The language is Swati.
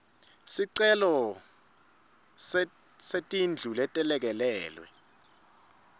sicelo setindlu letelekelelwe